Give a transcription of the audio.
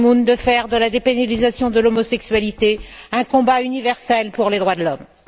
Ban Ki moon de faire de la dépénalisation de l'homosexualité un combat universel pour les droits de l'homme.